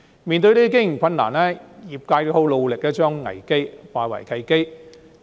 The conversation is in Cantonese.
面對這些經營困難，業界十分努力將危機化為契機。